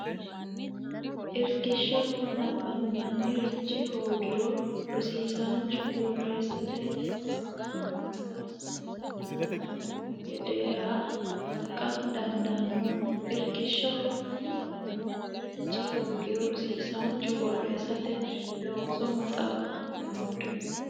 Irkishshaho nabbanbannirichi hoogiro rosiisaanchu borreessate looso maxaafinsa giddo noohu gedeeha kalaqa dandaanno Irkishshaho nabbanbannirichi hoogiro rosiisaanchu borreessate looso maxaafinsa giddo.